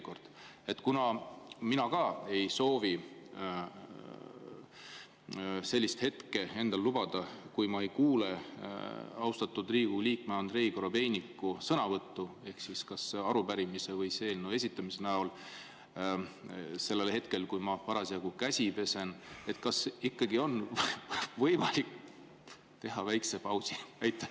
Kuna ka mina ei soovi seda endale lubada, et ma ei kuule austatud Riigikogu liikme Andrei Korobeiniku sõnavõttu arupärimise või eelnõu esitamiseks sel hetkel, kui ma parasjagu käsi pesen, siis kas ikkagi on võimalik teha väike paus?